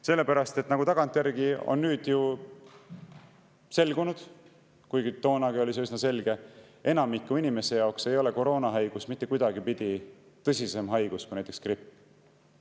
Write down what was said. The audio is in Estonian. Sellepärast, et nagu tagantjärgi on nüüd selgunud ja toonagi oli see üsna selge: enamiku inimeste jaoks ei ole koroonahaigus mitte kuidagipidi tõsisem haigus kui näiteks gripp.